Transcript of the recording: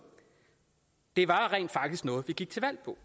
det var rent faktisk noget vi gik til valg på